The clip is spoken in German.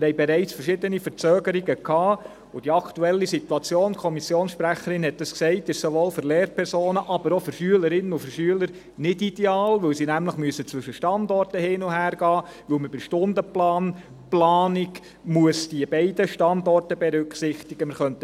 Wir haben bereits verschiedene Verzögerungen gehabt, und die aktuelle Situation – die Kommissionssprecherin hat es gesagt – ist sowohl für Lehrpersonen als auch für Schülerinnen und Schüler nicht ideal, weil sie nämlich zwischen Standorten hin und her wechseln müssen, weil man bei der Stundenplan-Planung diese beiden Standorte berücksichtigen muss.